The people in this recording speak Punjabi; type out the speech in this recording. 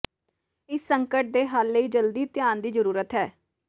ਇਸ ਸੰਕਟ ਦੇ ਹੱਲ ਲਈ ਜਲਦੀ ਧਿਆਨ ਦੀ ਜਰੂਰਤ ਹੈ